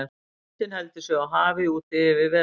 Lundinn heldur sig á hafi úti yfir vetrartímann.